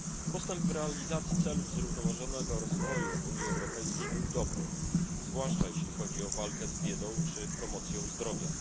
Postęp w realizacji celów zrównoważonego rozwoju w Unii Europejskiej był dobry, zwłaszcza jeśli chodzi o walkę z biedą czy promocją zdrowia.